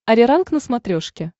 ариранг на смотрешке